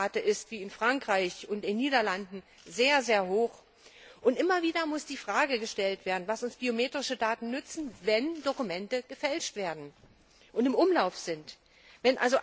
Die Fehlerrate ist wie in Frankreich und in den Niederlanden sehr hoch. Immer wieder muss die Frage gestellt werden, was uns biometrische Daten nützen, wenn Dokumente gefälscht werden und in Umlauf kommen.